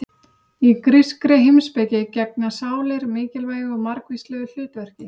Í grískri heimspeki gegna sálir mikilvægu og margvíslegu hlutverki.